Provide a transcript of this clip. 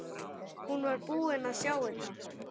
Hún var búin að sjá þetta!